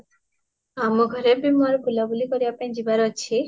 ଆମ ଘରେ ବି =ମୋରୋ ବୁଲା ବୁଲି କରିବା ପାଇଁ ଯିବାର ଅଛି